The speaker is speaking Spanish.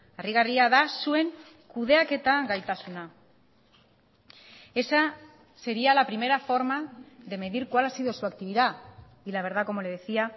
harrigarria da zuen kudeaketa gaitasuna esa sería la primera forma de medir cuál ha sido su actividad y la verdad como le decía